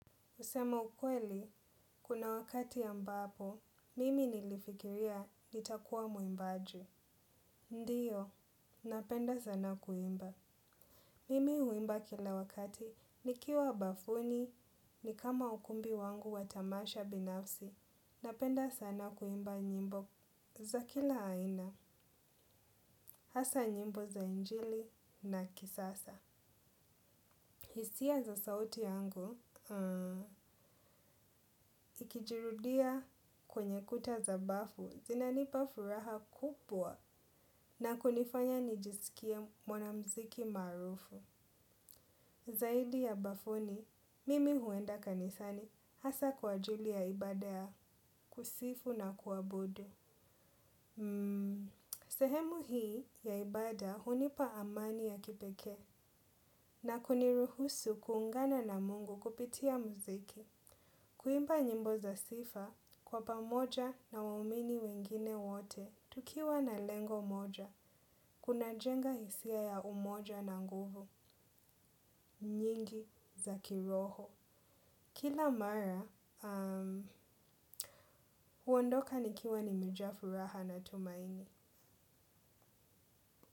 Kusema ukweli, kuna wakati ambapo, mimi nilifikiria nitakuwa mwimbaji. Ndiyo, napenda sana kuimba. Mimi huimba kila wakati, nikiwa bafuni, ni kama ukumbi wangu wa tamasha binafsi. Napenda sana kuimba nyimbo za kila aina, hasa nyimbo za injili na kisasa. Hisia za sauti yangu, ikijirudia kwenye kuta za bafu, zinanipa furaha kubwa na kunifanya nijisikie mwana muziki maarufu. Zaidi ya bafuni, mimi huenda kanisani hasa kwa ajili ya ibada ya kusifu na kuabudu. Mmm, sehemu hii ya ibada hunipa amani ya kipekee na kuniruhusu kuungana na mungu kupitia muziki. Kuimba nyimbo za sifa kwa pamoja na waumini wengine wote tukiwa na lengo moja, kunajenga hisia ya umoja na nguvu nyingi za kiroho. Kila mara, um, huondoka nikiwa nimejaa furaha na tumaini.